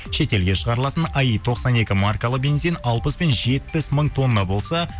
шетелге шығарылатын аи тоқсан екі маркалы бензин алпыс пен жетпіс мың тонна болса